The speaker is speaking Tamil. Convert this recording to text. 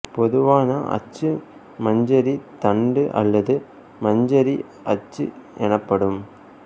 பொதுவான அச்சு மஞ்சரி தண்டு அல்லது மஞ்சரி அச்சு எனப்படும்